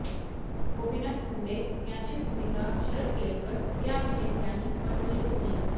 गोपीनाथ मुंडे यांची भूमिका शरद केळकर या अभिनेत्यानी वठवली होती